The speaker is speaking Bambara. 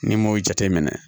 Ni m'o jateminɛ